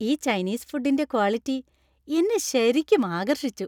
ഈ ചൈനീസ് ഫുഡിന്‍റെ ക്വാളിറ്റി എന്നെ ശരിക്കും ആകർഷിച്ചു.